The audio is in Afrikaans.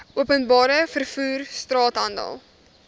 openbare vervoer straathandel